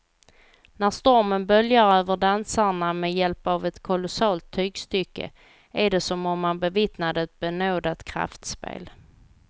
När stormen böljar över dansarna med hjälp av ett kolossalt tygstycke är det som om man bevittnade ett benådat kraftspel.